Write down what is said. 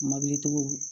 Mɔbilitigiw